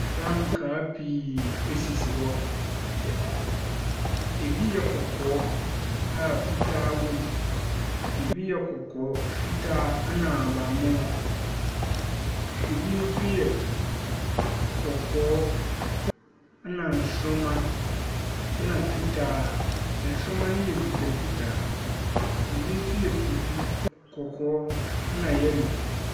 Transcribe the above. Frankaa pii sisi hɔ. Ebi yɛ kɔkɔɔ, a fitaa wom. Ebi yɛ kɔkɔɔ, fitaa ɛnna ahaban mono. Ebi nso yɛ kɔkɔɔ, ɛnna nsoroma, ɛnna fitaa nsoroma no yɛ mfitamfitaa. Ebi nso yɛ tuntum, kɔkɔɔ, ɛnna yellow.